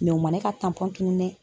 Mɛ u ma ne ka tunun dɛ